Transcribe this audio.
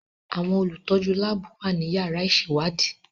Àwọn olùtọ́jú láàbù wà nínú yàrá ìṣèwádìí.